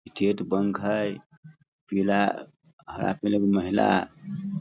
state Bank है पीला हरा कलर के महिला --